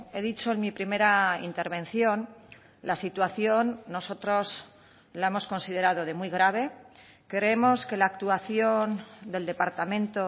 he dicho en mi primera intervención la situación nosotros la hemos considerado de muy grave creemos que la actuación del departamento